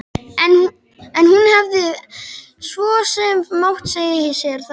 En hún hefði svo sem mátt segja sér þetta.